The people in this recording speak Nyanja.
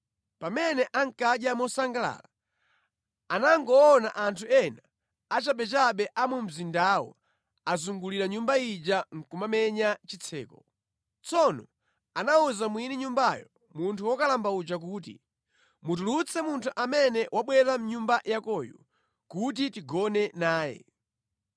Pamene ankadya mosangalala, anangoona anthu ena achabechabe a mu mzindawo azungulira nyumba ija nʼkumamenya chitseko. Tsono anawuza mwini nyumbayo, munthu wokalamba uja kuti, “Mutulutse munthu amene wabwera mʼnyumba yakoyu kuti tigone naye.”